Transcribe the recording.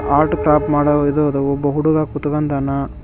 Art top ಮಾಡೋ ಇದು ಅದ ಒಬ್ಬ ಹುಡುಗ ಕೂತ್ಕೊಂಡಾನ.